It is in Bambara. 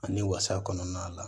Ani wasa kɔnɔna la